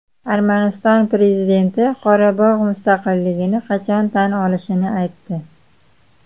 Armaniston prezidenti Qorabog‘ mustaqilligini qachon tan olishini aytdi.